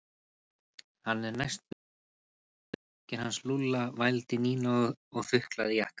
Hann er næstum alveg eins og jakkinn hans Lúlla vældi Nína og þuklaði jakkann.